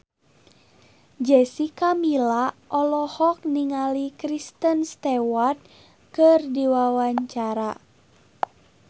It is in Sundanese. Jessica Milla olohok ningali Kristen Stewart keur diwawancara